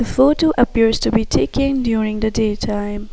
Photo appears to be taken during the day time.